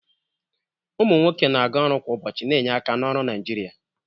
Ụmụ nwoke na-aga ọrụ kwa ụbọchị, na-enye aka na ọrụ Naijiria.